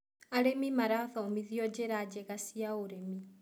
Arĩmi marathomithio njĩra njega cia ũrĩmi.